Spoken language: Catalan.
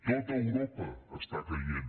tot europa està caient